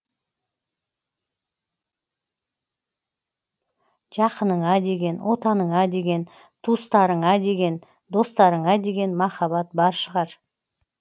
жақыныңа деген отаныңа деген туыстарыңа деген достарыңа деген махаббат бар шығар